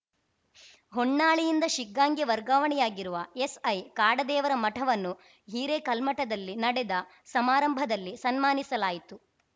ಹೊನ್ನಾಳಿಯಿಂದ ಶಿಗ್ಗಾಂಗೆ ವರ್ಗಾವಣೆಯಾಗಿರುವ ಎಸ್‌ಐ ಕಾಡದೇವರ ಮಠವನ್ನು ಹಿರೇಕಲ್ಮಠದಲ್ಲಿ ನಡೆದ ಸಮಾರಂಭದಲ್ಲಿ ಸನ್ಮಾನಿಸಲಾಯಿತು